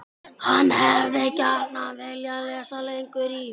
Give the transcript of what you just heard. HANN HEFÐI GJARNAN VILJAÐ LESA LENGUR Í